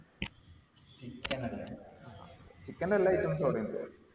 chicken ന്റെ എല്ലാ ഉം അവിടെ ഇണ്ട്